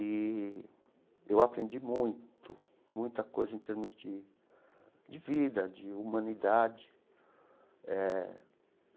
E eu aprendi muito, muita coisa em termos de de vida, de humanidade eh.